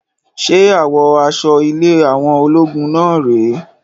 Ṣe àwọ aṣọ ilé àwọn ológun náà rè é?